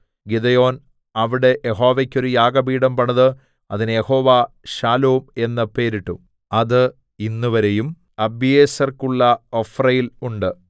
Gideon അവിടെ യഹോവക്കു ഒരു യാഗപീഠം പണിത് അതിന് യഹോവ ഷാലോം എന്ന് പേരിട്ടു അത് ഇന്നുവരെയും അബീയേസ്ര്യർക്കുള്ള ഒഫ്രയിൽ ഉണ്ട്